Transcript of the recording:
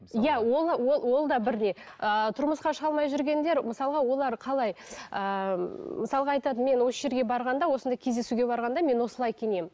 иә ол ол да бірдей ыыы тұрмысқа шыға алмай жүргендер мысалға олар қалай ыыы мысалға айтады мен осы жерге барғанда осындай кездесуге барғанда мен осылай киінемін